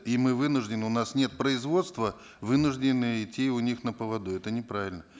и мы вынуждены у нас нет производства вынуждены идти у них на поводу это неправильно